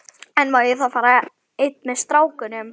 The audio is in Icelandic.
En má ég þá fara einn með strákunum?